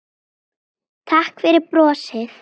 Takk fyrir brosið.